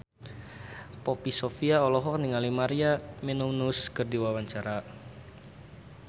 Poppy Sovia olohok ningali Maria Menounos keur diwawancara